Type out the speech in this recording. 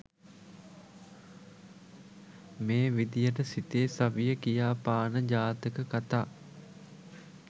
මේ විදියට සිතේ සවිය කියාපාන ජාතක කථා